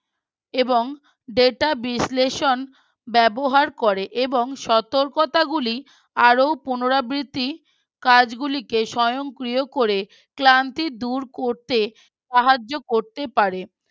এবং Data বিশ্লেষণ ব্যবহার করে এবং সতর্কতা গুলি আরও পুনরাবৃত্তি কাজগুলিকে স্বয়ংক্রিয় করে ক্লান্তি দূর করতে সাহায্য করতে পারে